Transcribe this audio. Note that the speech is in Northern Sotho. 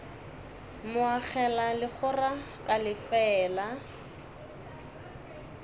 mo agela legora ka lefeela